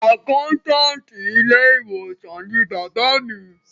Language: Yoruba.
Àkáńtáàtì ilé ìwòsàn ni bàbá mi.